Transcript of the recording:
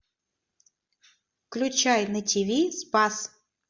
включай на тв спас